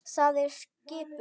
Það er skipun!